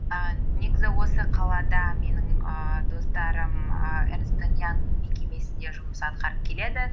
ііі негізі осы қалада менің ііі достарым і эрнест энд янг мекемесінде жұмыс атқарып келеді